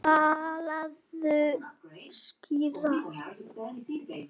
Talaðu skýrar.